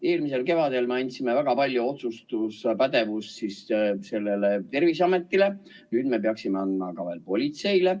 Eelmisel kevadel me andsime väga palju otsustuspädevust sellele Terviseametile, nüüd peaksime andma ka veel politseile.